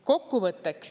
Kokkuvõtteks.